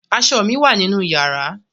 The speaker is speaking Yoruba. Aṣọ mi wà nínú yàrá.